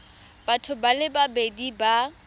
batho ba le babedi ba